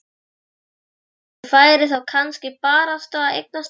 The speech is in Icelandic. Og hvort hún færi þá kannski barasta að eignast barn.